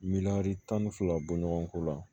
Miliyɔn tan ni fila bɔ ɲɔgɔn ko la